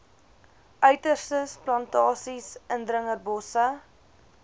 uiterstes plantasies indringerbosse